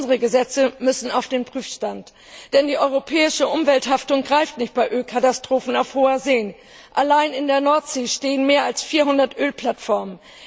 Unsere Gesetze müssen auf den Prüfstand, denn die europäische Umwelthaftung greift nicht bei Ölkatastrophen auf hoher See. Allein in der Nordsee stehen mehr als 400 Ölplattformen.